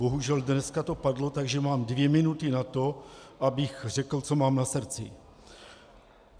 Bohužel dnes to padlo, takže mám dvě minuty na to, abych řekl, co mám na srdci.